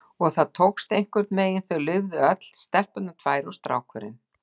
Og það tókst, einhvernveginn, þau lifðu öll, stelpurnar tvær og strákurinn